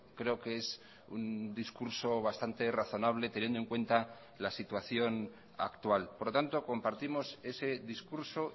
creo que es un discurso bastante razonable teniendo en cuenta la situación actual por lo tanto compartimos ese discurso